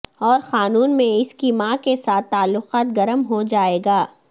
اور قانون میں اس کی ماں کے ساتھ تعلقات گرم ہو جائے گا